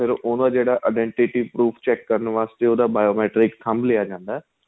ਉਹਨੂੰ ਏ ਜਿਹੜਾ identity professor check ਕਰਨ ਵਾਸਤੇ ਉਹਦਾ bio matrix ਥੱਮ ਲਿਆ ਜਾਂਦਾ ਏ